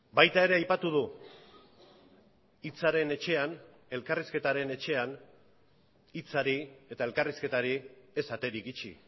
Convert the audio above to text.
baita ere aipatu du hitzaren etxean elkarrizketaren etxean hitzari eta elkarrizketari ez aterik itxi